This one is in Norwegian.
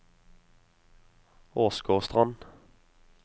Åsgårdstrand